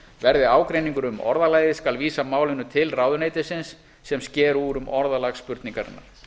verði ágreiningur um orðalagið skal vísa málinu til ráðuneytisins sem sker úr um orðalag spurningarinnar